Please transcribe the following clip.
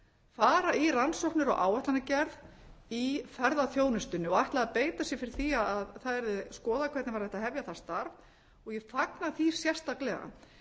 fara í rannsóknir og áætlanagerð í ferðaþjónustunni og ætlaði að beitasér fyrir því að það yrði skoðað hvernig væri hægt að hefja það starf ég fagna því sérstaklega